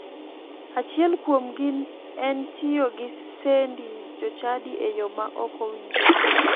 Achiel kuomgi en tiyo gi sendi jochadi e yo ma ok owinjore.